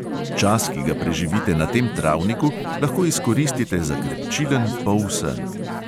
Čas, ki ga preživite na tem travniku, lahko izkoristite za krepčilen polsen.